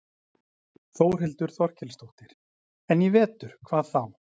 Þórhildur Þorkelsdóttir: En í vetur, hvað þá?